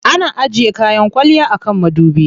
Ana ajiye kayan kwalliya a kan madubi.